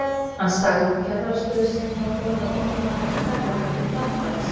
Hann sagði upp kennarastöðu sinni og fór með unga manninn í ferðalag til Frakklands.